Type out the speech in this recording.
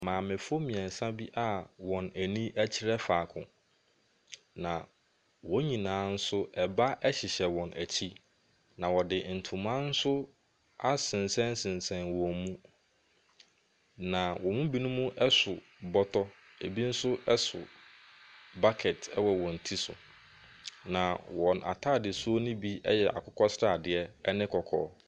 Mamefoɔ mmeɛnsa bi a wɔn ani kyerɛ faako, na wɔn nyinaa nso, ɛba hyehyɛ wɔn akyi, na wɔde ntoma nso asensɛn wɔn mu, na wɔn mu bi so bɔtɔ, ɛbi nso so bucket wɔ wɔn ti so, na wɔn atadesu no bi yɛ akokɔsradeɛ ne kɔkɔɔ.